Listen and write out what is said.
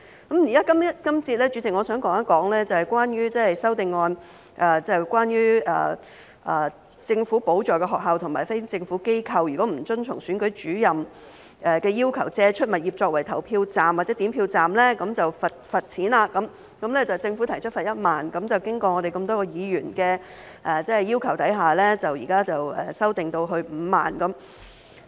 代理主席，這節我想談的修正案，涉及政府補助的學校和非政府機構如果不遵從總選舉事務主任的要求借出物業作為投票站或點票站便罰款，政府提出罰款1萬元，但經過我們多位議員的要求，現在修訂至5萬元。